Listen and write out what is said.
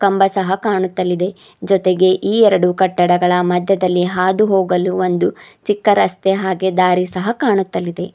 ಕಂಬ ಸಹ ಕಾಣುತ್ತಲಿದೆ ಜೊತೆಗೆ ಈ ಎರಡು ಕಟ್ಟಡಗಳ ಮಧ್ಯದಲ್ಲಿ ಹಾದು ಹೋಗಲು ಒಂದು ಚಿಕ್ಕ ರಸ್ತೆ ಹಾಗೆ ದಾರಿ ಸಹ ಕಾಣುತ್ತಲಿದೆ.